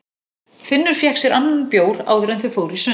Finnur fékk sér annan bjór áður en þau fóru í sund.